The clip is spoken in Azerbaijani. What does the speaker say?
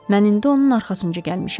Mən indi onun arxasınca gəlmişəm.